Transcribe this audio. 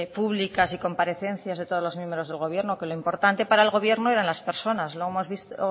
públicas y comparecencias de todos los miembros del gobierno que lo importante para el gobierno eran las personas lo hemos visto